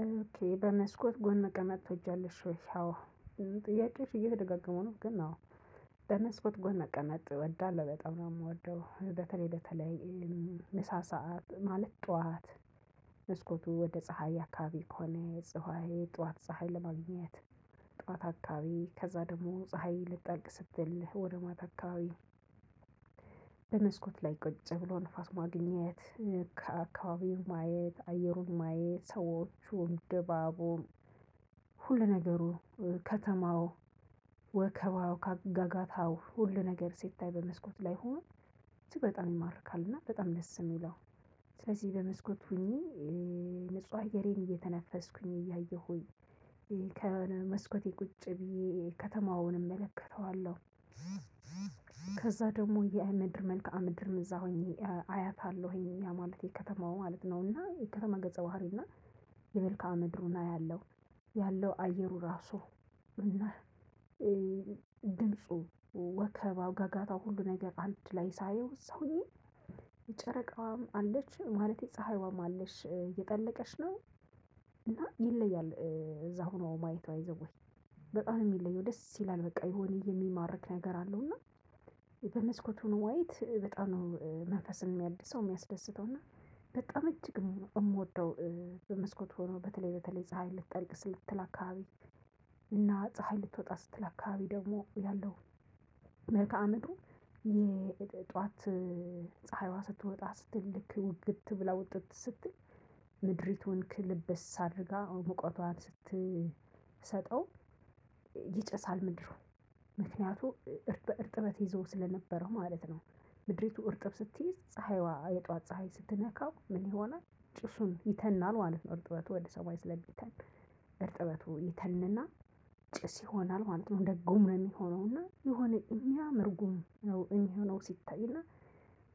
ኦኬ በመስኮት ጎን መቀመጥ ትወጃለሽ ወይ? አዎ የሚልበት ጥያቄዎች እየተደጋገሙ ነው። ግን አዎ በመስኮት ጎን መቀመጥ እወዳለሁ በጣም ነው የምወደው በተለይ በተለይ። ምሳ ሰዓት ማለት ጠዋት መስኮቱ ወደ ፀሀይ አካባቢ ከሆነ የፀሀይ ጠዋት ፀሀይ ለማግኘት። ጠዋት አካባቢ ከዛ ደግሞ ፀሀይ ልትጠልቅ ስትል ወደ ማታ አካባቢ። በመስኮት ላይ ቁጭ ብሎ ንፋስ ማግኘት ከአካባቢው ማየት አየሩን ማየት ሰዎቹን ድባቡን። ሁል ነገሩ ከተማው ወከባው ጋጋታው ሁሉ ነገር ስታይ በመስኮት ላይ ሆኖ። እጅግ በጣም ይማርካል እና በጣም ደስ የሚለው። ስለዚህ በመስኮት ሆኜ ንጹህ አየሬን እየተነፈስኩኝ እያየሁኝ ከመስኮቴ ቁጭ ብዬ ከተማውን እመለከተዋለሁ። ከዛ ደግሞ የምድር መልክአ ምድርን እዛ ሆኜ አያታለሁኝ ያ ማለት የከተማው ማለት ነው። እና የከተማ ገጸ ባህሪ እና የመልክዓ ምድሩን አያለሁ። ያለው አየሩ ራሱ እና ድምፁ ወከባ ጋጋታው ሁሉ ነገር አንድ ላይ ሳየው እዛ ሆኜ። የጨረቃዋም አለች ማለቴ ፀሀይዋም አለች እየጠለቀች ነው። እና ይለያል እዛ ሆኖ ማየት ባይዘወይ በጣም ነው የሚለየው ደስ ይላል። በቃ የሆነ የሚማርክ ነገር አለው። እና በመስኮት ሆኖ ማየት በጣም ነው መንፈስን የሚያድሰው የሚያስደስተው እና በጣም እጅግ ነው የምወደው። በመስኮት ሆኖ በተለይ በተለይ ፀሀይ ልትጠልቅ ስትል አካባቢ። እና ፀሀይ ልትወጣ ስትል አካባቢ ደግሞ ያለው። መልክአ ምድሩ የጧት ፀሀይዋ ስትወጣ ስትል ልክ ግብት ብላ ውጥት ስትል ምድሪቱን ክልብስ አድርጋ ሙቀቷን ስትሰጠው። ይጨሳል ምድሩ ምክንያቱም በእርጥበት ይዘው ስለነበረ ማለት ነው። ምድሪቱ እርጥብ ስትይዝ ፀሀይዋ የጧት ፀሀይ ስትነካው ምን ይሆናል? ጭሱ ይተናል ማለት ነው። እርጥበቱ ወደ ሰማይ ስለምተን እርጥበቱ ይተንና ጭስ ይሆናል ማለት ነው። እንደ ጉም ሆኖና የሆነ የምያምር ጉም ነው የሚሆነው ሲታይ። እና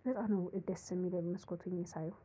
በጣም ነው ደስ የሚለኝ መስኮቱን ሳየው።